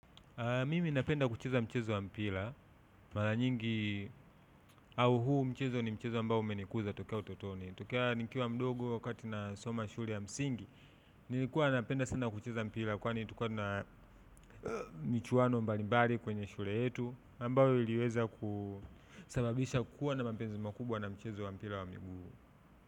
Mimi napenda kucheza mchezo wa mpira, mara nyingi au huu mchezo ni mchezo ambao umenikuza tokea utotoni. Tokea nikiwa mdogo wakati nasoma shule ya msingi, nilikuwa napenda sana kucheza mpira kwani tulikuwa na michwano mbalimbali kwenye shule yetu ambayo iliweza kusababisha kukuwa na mapenzi makubwa na mchezo wa mpira wa miguu.